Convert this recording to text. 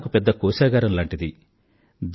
ఇదంతా నాకు పెద్ద కోశాగారం లాంటిది